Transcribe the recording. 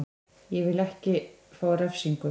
Ég vil ekki fá refsingu.